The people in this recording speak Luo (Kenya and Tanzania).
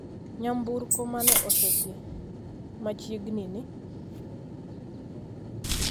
Nyamburko mane osidhi machiegni ni